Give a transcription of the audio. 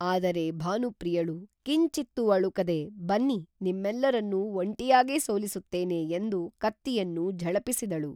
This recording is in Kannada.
ಆದರೆ ಭಾನುಪ್ರಿಯಳು ಕಿಂಚಿತ್ತೂ ಅಳುಕದೆ ಬನ್ನಿ ನಿಮ್ಮೆಲ್ಲರನ್ನೂ ಒಂಟಿಯಾಗೇ ಸೋಲಿಸುತ್ತೇನೆ ಎಂದು ಕತ್ತಿಯನ್ನು ಝಳಪಿಸಿದಳು